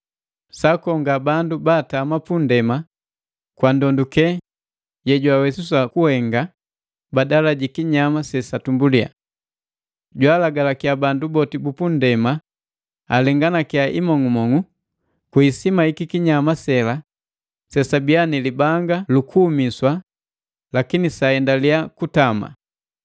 Jwaakonga bandu ba atama pu ndema kwa ndonduke yejwawesiswa kuhenga badala jikinyama sesatumbulia. Jwaalagalakiya bandu boti bupunndema alenganakia imong'umong'u kwi isima yikikinyama sela sesabiia ni libanga lukuumiswa lakini saendalia kutama.